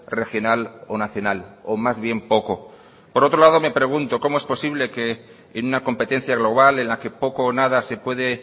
regional o nacional o más bien poco por otro lado me pregunto cómo es posible que en una competencia global en la que poco o nada se puede